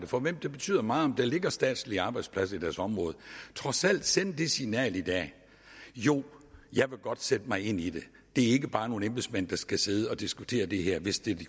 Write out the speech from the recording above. for hvem det betyder meget om der ligger statslige arbejdspladser i deres område trods alt sende det signal i dag jo jeg vil godt sætte mig ind i det det er ikke bare nogle embedsmænd der skal sidde og diskutere det her hvis de